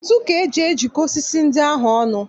Ntu ka eji jikọọ osisi ndị ahụ ọnụ